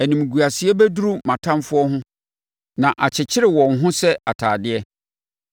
Animguaseɛ bɛdura mʼatamfoɔ ho; na akyekyere wɔn ho sɛ atadeɛ.